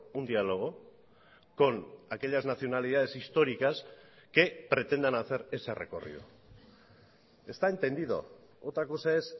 un diálogo con aquellas nacionalidades históricas que pretendan hacer ese recorrido está entendido otra cosa es